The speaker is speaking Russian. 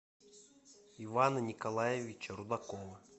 ивана николаевича рудакова